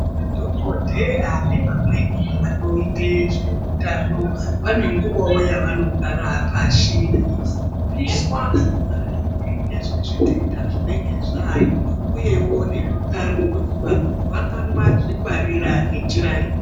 Madhogodheya nevamweni vanoite zveutano vanenguwawo yavanogara pashi veifundiswa ngezvezvitenda zvinenge zvaayo uyewo neutano kuti vanhu vangazvingwarira ngenjira iri.